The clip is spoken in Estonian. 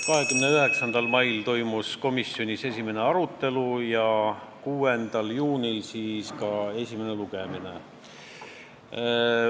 29. mail toimus komisjonis esimene arutelu ja 6. juunil ka eelnõu esimene lugemine.